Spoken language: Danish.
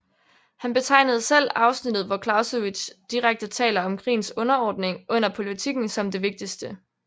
Han betegnede selv afsnittet hvor Clausewitz direkte taler om krigens underordning under politikken som det vigtigste